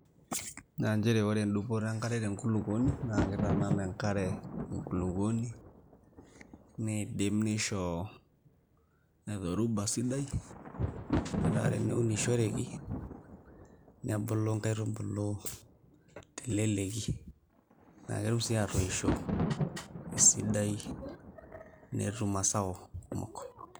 Naa nchere endupoto enkare tenkulupuoni naa kitanana enkare enkulupuoni nidim nisho dhoruba sidai , metaa teneunishoreki nebulu nkaitubulu teleleki naa ketum sii atoisho esidai netum masao kumok.